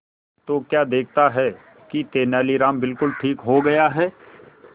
तो क्या देखता है कि तेनालीराम बिल्कुल ठीक हो गया है